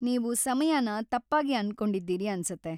ನೀವು ಸಮಯನ ತಪ್ಪಾಗಿ ಅನ್ಕೊಂಡಿದ್ದೀರಿ ಅನ್ಸತ್ತೆ.